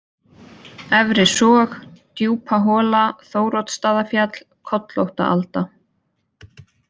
Efrisog, Djúpahola, Þóroddsstaðafjall, Kollóttaalda